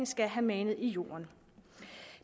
skal have manet i jorden